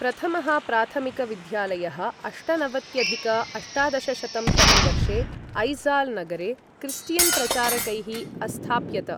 प्रथमः प्राथमिक विद्यालयः अष्टनवत्यधिक अष्टादशशतं तमे वर्षे ऐज़ाल् नगरे क्रिस्टियन् प्रचारकैः अस्थाप्यत।